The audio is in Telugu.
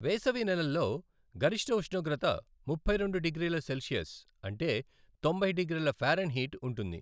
వేసవి నెలల్లో గరిష్ట ఉష్ణోగ్రతముప్పై రెండు డిగ్రీల సెల్సియస్ అంటే తొంభై డిగ్రీల ఫారెన్హీట్ ఉంటుంది.